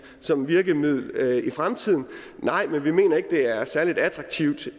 som virkemiddel i fremtiden nej men vi mener ikke det er særlig attraktivt